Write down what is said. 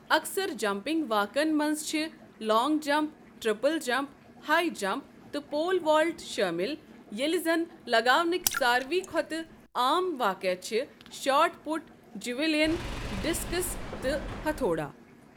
اَکثر جمپنگ واقعَن منٛز چھِ long jump, triple jump, high jump, تہٕ پول والٹ شٲمِل، ییٚلہِ زَنہٕ لگاونٕکۍ ساروِے کھۄتہٕ عام واقعہٕ چھِ شاٹ پُٹ، جیولین، ڈسکس تہٕ ہتھوڑا۔